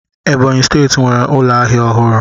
Ebonyi steeti nwere ụlọ ahịa ọhụrụ.